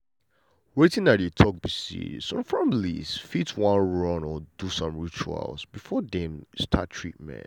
wetin i dey talk be say some families fit wan pray or do some ritual before dem start treatment.